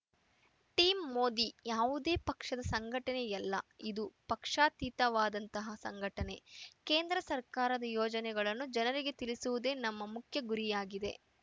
team Modi ಯಾವುದೇ ಪಕ್ಷದ ಸಂಘಟನೆಯಲ್ಲ ಇದು ಪಕ್ಷಾತೀತವಾದಂತಹ ಸಂಘಟನೆ ಕೇಂದ್ರ ಸರ್ಕಾರದ ಯೋಜನೆಗಳನ್ನು ಜನರಿಗೆ ತಿಳಿಸುವುದೇ ನಮ್ಮ ಮುಖ್ಯ ಗುರಿಯಾಗಿದೆ